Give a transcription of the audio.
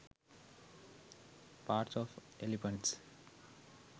pats of elephants